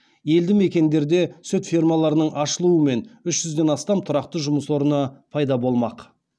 елді мекендерде сүт фермаларының ашылуымен үш жүзден астам тұрақты жұмыс орны пайда болмақ